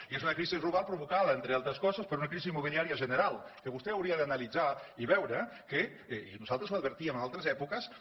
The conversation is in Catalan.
i és una crisi global provocada entre altres coses per una crisi immobiliària general que vostè hauria d’analitzar i veure que i nosaltres l’advertíem en altres èpoques